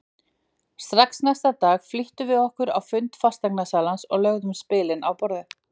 Strax næsta dag flýttum við okkur á fund fasteignasalans og lögðum spilin á borðið.